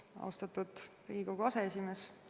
Austatud Riigikogu aseesimees!